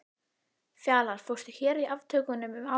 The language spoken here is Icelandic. Ertu búinn að fara á skíði þar í vetur?